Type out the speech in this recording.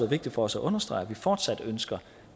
vigtigt for os at understrege at vi fortsat ønsker